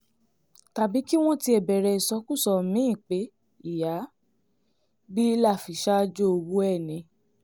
tàbí kí wọ́n tiẹ̀ bẹ̀rẹ̀ ìsọkúsọ mí-ín pé ìyá bílà fi ṣaájò ọwọ́ ẹ̀ ni